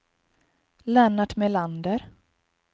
Lennart Melander